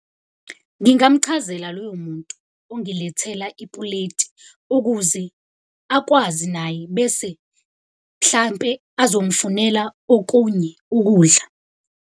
Ngingamchazela loyo muntu ongilethela ipuleti, ukuze akwazi naye bese hlampe azongifunela okunye ukudla.